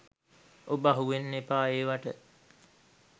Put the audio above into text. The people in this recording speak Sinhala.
ඔබ අහුවෙන්න එපා ඒවට.